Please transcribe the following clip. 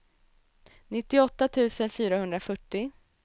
nittioåtta tusen fyrahundrafyrtio